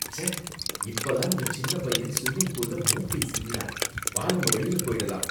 ச்ச! இப்பதான் அந்த சின்ன பையன் ஸ்விம்மிங் பூல்ல மூக்கை சிந்தினான். வா நாம வெளியில போயிடலாம்.